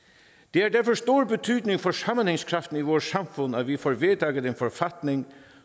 har derfor stor betydning for sammenhængskraften i vores samfund at vi får vedtaget en forfatning